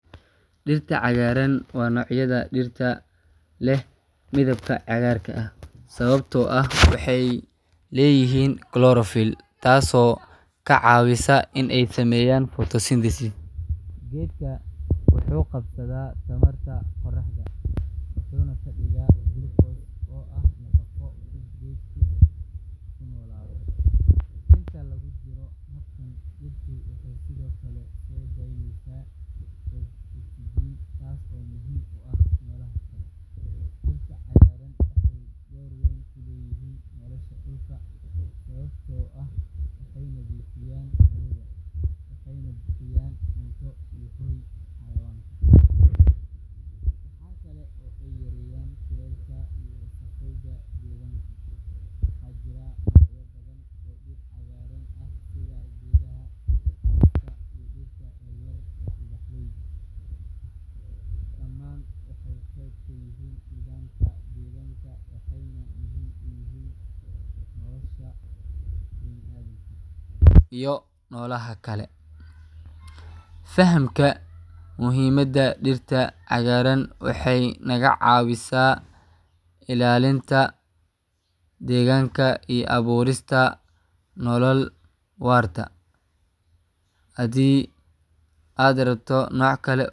Dirta cagaran waa nocyaada dirta leh midabka cagarka ah sawabto ah waxee leyihin tas oo ka cawineyaa, iyo nolaha kale fahamka muhiimaada cagaran waxee naga cawisaa ilalinta deganka iyo aburista nolol warta hadii aa rabto noc kale.